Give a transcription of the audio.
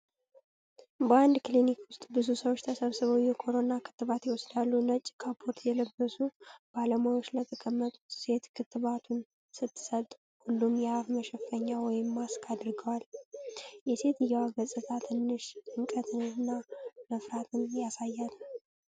በአንድ ክሊኒክ ውስጥ ብዙ ሰዎች ተሰብስበው የኮሮና ክትባት ይወስዳሉ። ነጭ ካፖርት የለበሰች ባለሙያ ለተቀመጠች ሴት ክትባቱን ስትሰጥ፣ ሁሉም የአፍ መሸፈኛ (ማስክ) አድርገዋል። የሴትየዋ ገፅታ ትንሽ ጭንቀትንና መፍራት ያሳያል።